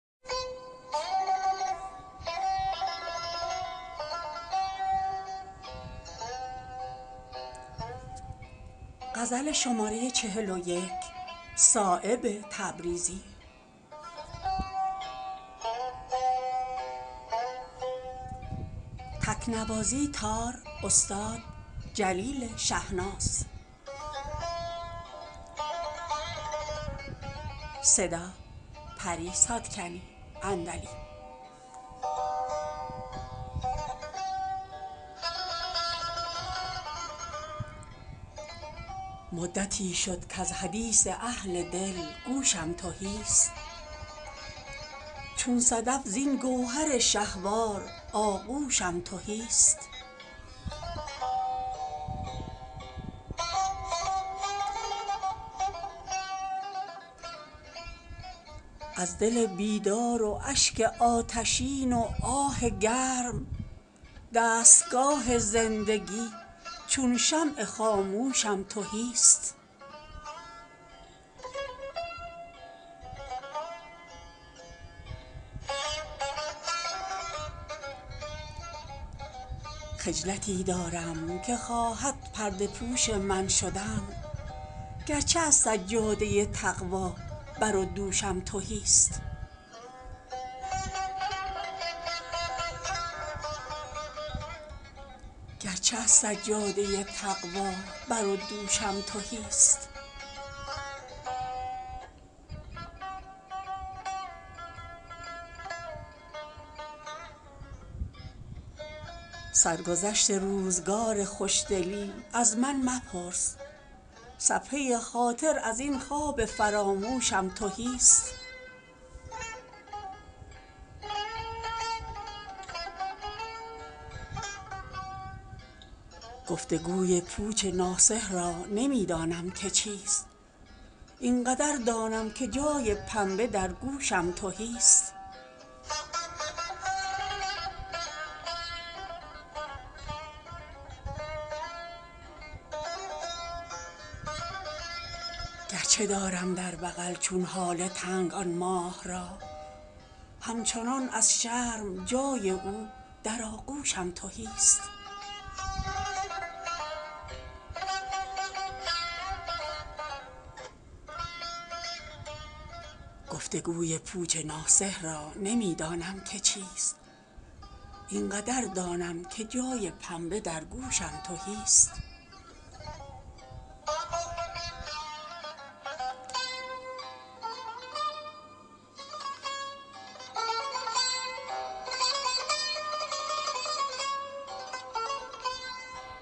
مدتی شد کز حدیث اهل دل گوشم تهی است چون صدف زین گوهر شهوار آغوشم تهی است از دل بیدار و اشک آتشین و آه گرم دستگاه زندگی چون شمع خاموشم تهی است درد تلخی در قدح دارم که کوثر داغ اوست شیشه دل گرچه از صهبای سرجوشم تهی است گرچه عمری شد به دریا می روم دست و بغل همچو موج از گوهر شهوار آغوشم تهی است سرگذشت روزگار خوشدلی از من مپرس صفحه خاطر ازین خواب فراموشم تهی است گفتگوی پوچ ناصح را نمی دانم که چیست این قدر دانم که جای پنبه در گوشم تهی است خجلتی دارم که خواهد پرده پوش من شدن گرچه از سجاده تقوی بر و دوشم تهی است گرچه دارم در بغل چون هاله تنگ آن ماه را همچنان از شرم جای او در آغوشم تهی است می زنم لاف خودی صایب ز بیم چشم زخم ورنه از زنگ خودی آیینه هوشم تهی است